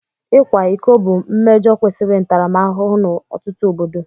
Ịkwa iko bụ mmejọ kwesịrị ntaramahụhụ n'ọtụtụ obodo